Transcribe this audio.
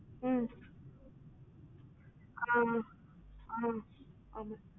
ம் ஆஹ் ஆஹ் ஆஹ்